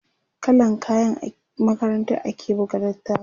kallan kayan makarantar ake buga littafin